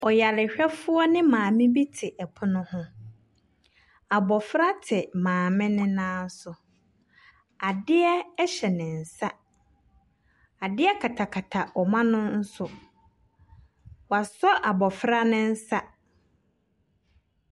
Ɔyarehwɛfoɔ ne maame bi te ɛpono ho. Abɔfra te maame no nan so. Adeɛ hyɛ ne nsa. Adeɛ katakata wɔn ano nso. Wasɔ abɔfra no nsa.